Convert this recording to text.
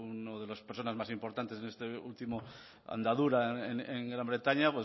una de las personas más importantes de esta última andadura en gran bretaña